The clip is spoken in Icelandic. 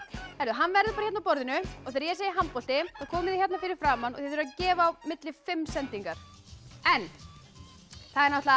hann verður hérna á borðinu og þegar ég segi handbolti þá komið þið hérna fyrir framan og þið þurfið að gefa á milli fimm sendingar en það